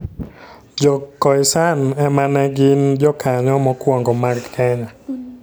Jo-Khoisan ema ne gin jokanyo mokwongo mag Kenya.